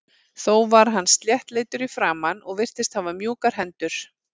Þó var hann sléttleitur í framan og virtist hafa mjúkar hendur.